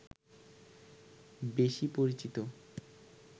বেশি পরিচিত